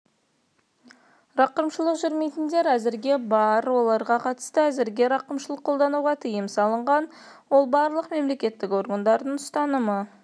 рақымшылық жүрмейтіндер әзірге бар оларға қатысты әзірге рақымшылық қолдануға тыйым салынған ол барлық мемлекеттік органдардың ұстанымы